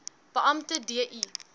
beampte d i